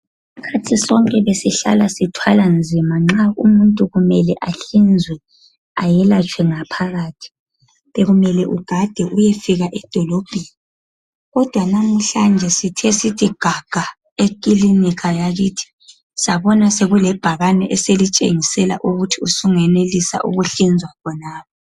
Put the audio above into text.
Isikhathi sonke besihlala sithwala nzima nxa umuntu kumele ahlinzwe ayelatshwe ngaphakathi. Bekumele ugade uyefika edolobheni. Kodwa namuhlanje sithe sithi gaga eklinika yakithi, sabona sekule bhakane eselitshengisela ukuthi usungenelisa ukuhlinzwa khonapha.